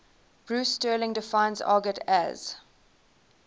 bruce sterling defines argot as